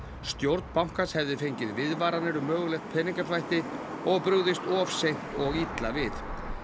stjórn bankans hefði fengið viðvaranir um mögulegt peningaþvætti og brugðist of seint og illa við